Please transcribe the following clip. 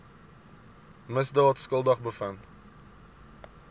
misdaad skuldig bevind